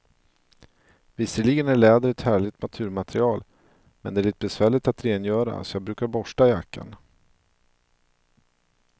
Visserligen är läder ett härligt naturmaterial, men det är lite besvärligt att rengöra, så jag brukar borsta jackan.